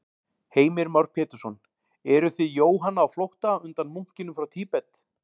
Heimir Már Pétursson: Eruð þið Jóhanna á flótta undan munkinum frá Tíbet?